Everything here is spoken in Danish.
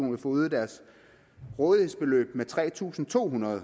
vil få øget deres rådighedsbeløb med tre tusind to hundrede